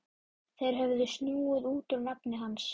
Þeir höfðu snúið út úr nafni hans.